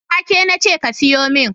wake nace ka siyumin.